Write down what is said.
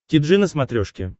ти джи на смотрешке